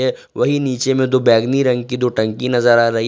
वहीं नीचे में दो बैंगनी रंग की दो टंकी नजर आ रही--